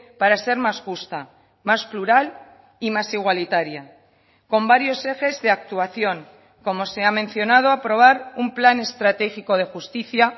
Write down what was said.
para ser más justa más plural y más igualitaria con varios ejes de actuación como se ha mencionado aprobar un plan estratégico de justicia